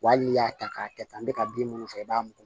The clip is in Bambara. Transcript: Wa hali n'i y'a ta k'a kɛ tan n bɛ ka bin minnu faga i b'a muku